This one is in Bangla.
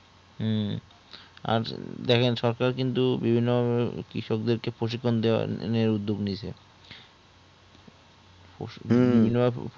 উহ আর দেখেন সরকার কিন্তু বিভিন্ন কৃষককে প্রসিদন দেওয়ার নিয়ে উদ্যোগ নিয়েছে